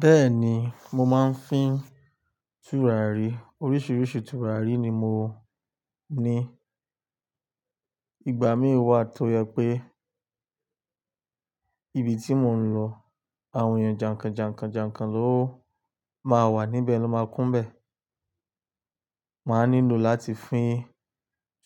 Bẹ́ẹ̀ni, mo máa ń fín tùràrí. Oríṣiríṣi tùràrí ni mo ní. Ìgbà míì wà tó jẹ pé ibi tí mò ń lọ àwọn èèyàn jàǹkàn jàǹkàn jàǹkàn ló máa wà níbẹ̀ ló máa kún bẹ́ẹ̀. Màá nílò láti fín